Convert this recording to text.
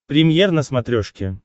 премьер на смотрешке